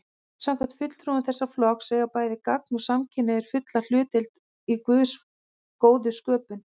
Samkvæmt fulltrúum þessa flokks eiga bæði gagn- og samkynhneigðir fulla hlutdeild í Guðs góðu sköpun.